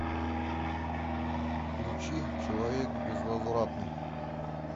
включи человек безвозвратный